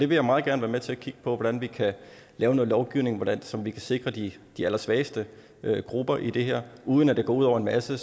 vil meget gerne være med til at kigge på hvordan vi kan lave noget lovgivning så vi kan sikre de de allersvageste grupper i det her uden at det går ud over en masse